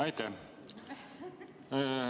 Aitäh!